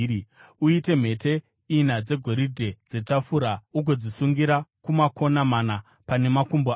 Uite mhete ina dzegoridhe dzetafura ugodzisungira kumakona mana, pane makumbo ayo.